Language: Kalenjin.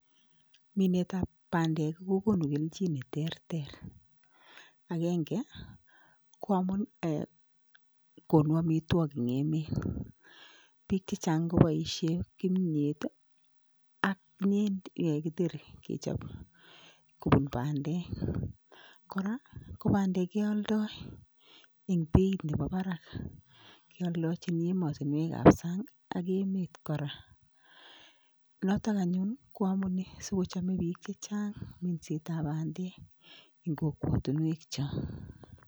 Minetab bandek kokonu kelchin neterter, akenge koamun eeh konu amitwoki eng emet biik chechang' koboisien kimiet ak kiteri kechop kopun bandek kora ko bandek kealdo en beit nepo parak kealdochin emotinwek chepo sang' ak emet kora, noto anyun koamunee sikochome biik chechang' minsetab bandek en kokwotinwek chechang'.